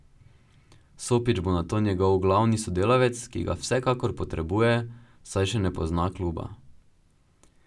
Sopić bo nato njegov glavni sodelavec, ki ga vsekakor potrebuje, saj še ne pozna kluba.